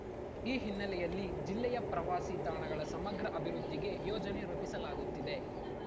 ಈ ಹಿನ್ನೆಲೆಯಲ್ಲಿ ಜಿಲ್ಲೆಯ ಪ್ರವಾಸಿ ತಾಣಗಳ ಸಮಗ್ರ ಅಭಿವೃದ್ಧಿಗೆ ಯೋಜನೆ ರೂಪಿಸಲಾಗುತ್ತಿದೆ